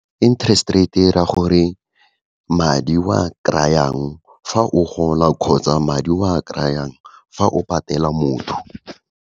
Interest rate, e ra gore madi oa kry-ang fa o gola, kgotsa madi oa kry-ang fa o patela motho.